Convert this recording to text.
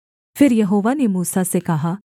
फिर यहोवा ने मूसा से कहा